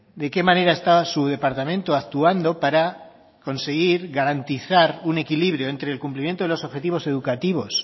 de qué manera está su departamento actuando para conseguir garantizar un equilibrio entre el cumplimiento de los objetivos educativos